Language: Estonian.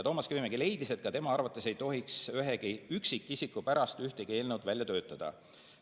Toomas Kivimägi leidis, et ka tema arvates ei tohiks ühegi üksikisiku pärast ühtegi eelnõu välja töötada.